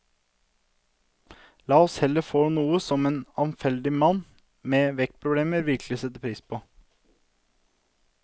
La oss heller få noe som en avfeldig mann med vektproblemer virkelig vil sette pris på.